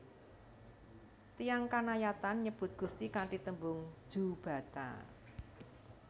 Tiyang Kanayatn nyebut Gusti kanthi tembung Jubata